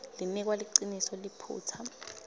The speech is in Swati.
linikwa liciniso liphutsa